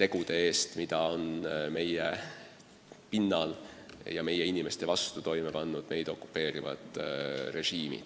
tegude eest, mida on meie pinnal ja meie inimeste vastu toime pannud meid okupeerinud režiimid.